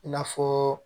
I n'a fɔ